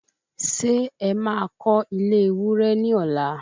Ṣé ẹ má kọ́ ile ewúrẹ́ ní ọ̀la?